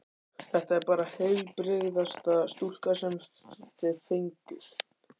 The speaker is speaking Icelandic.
Þetta er bara heilbrigðasta stúlka sem þið fenguð.